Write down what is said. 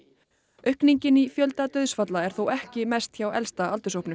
aukningin í fjölda dauðsfalla er þó ekki mest hjá elsta aldurshópnum